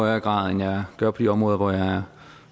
højere grad end jeg gør på de områder hvor jeg